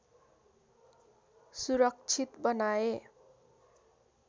सुरक्षित बनाए